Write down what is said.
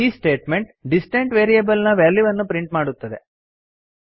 ಈ statement distant variable ನ ವ್ಯಾಲ್ಯೂವನ್ನು ಪ್ರಿಂಟ್ ಮಾಡುತ್ತದೆ